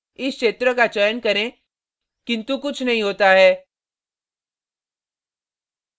इस क्षेत्र का चयन करें किन्तु कुछ नहीं होता है